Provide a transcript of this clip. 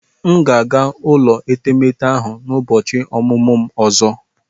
M ga-aga ụlọ etemeete ahụ n'ụbọchị ọmụmụ m ọzọ.